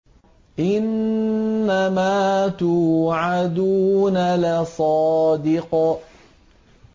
إِنَّمَا تُوعَدُونَ لَصَادِقٌ